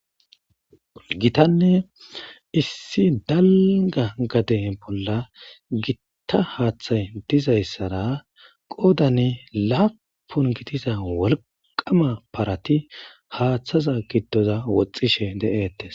gitanne issi dalga gade bolla gitta haaththay dizayssara qoodane laapun gitiza wolqama parati haaththaza giddoza woxxishe de7ettes